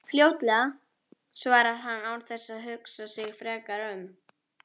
Fljótlega, svarar hann án þess að hugsa sig frekar um.